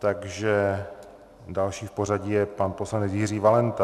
Takže další v pořadí je pan poslanec Jiří Valenta.